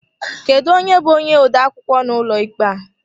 Kedụ onye bú onye odeakwụkwọ n'ụlọ ikpe a?